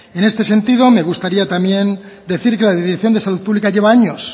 en este sentido me gustaría también decir que la dirección de salud pública lleva años